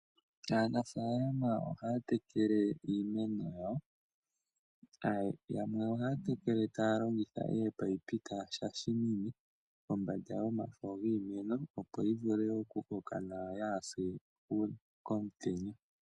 Aanafaalama ohaya tekele iimeno yawo. Yamwe oha ya tekele ta ya longitha ominino ta ya shashamine kombanda yomafo giimeno, opo yi vule okukoka nawa yaa ha se komutenya.